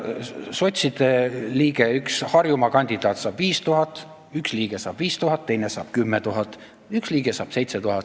Sotside liige, üks Harjumaa kandidaat, saab 5000 – üks liige saab 5000, teine saab 10 000, üks liige saab 7000.